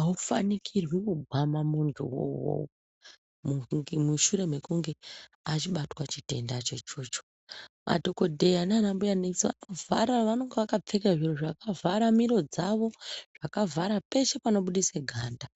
aufanikirwi kugwama muntu wouyoyo mushure mekunge achibatwa chitenda choichocho madhokodheya nana mbuya nesi vanenge vakapfeka vakavhara panobudisa miro dzavo vakavhara peshe panobudisa ganda.